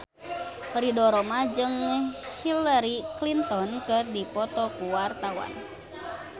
Ridho Roma jeung Hillary Clinton keur dipoto ku wartawan